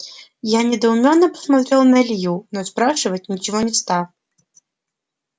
я недоуменно посмотрел на илью но спрашивать ничего не стал